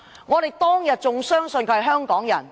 我們當天仍相信她是香港人。